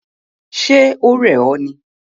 Ṣe o rẹ ọ ni?